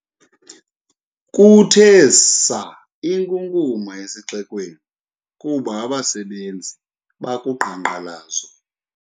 Kuthe saa inkunkuma esixekweni kuba abasebenzi bakuqhankqalazo.